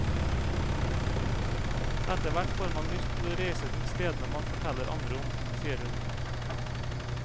Etterhvert får man lyst til å reise til stedene man forteller andre om, sier hun.